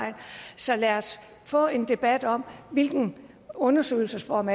så lad os få en debat om hvilken undersøgelsesform